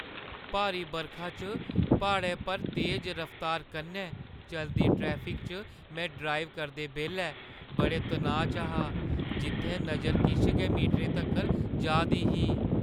भारी बरखा च प्हाड़ै पर तेज रफ्तार कन्नै चलदी ट्रैफिक च में ड्राइव करदे बेल्लै बड़े तनाऽ च हा जित्थै नजर किश गै मीटरें तक्कर जा दी ही।